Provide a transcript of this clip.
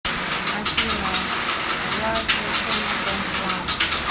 афина власть зе чемодан клан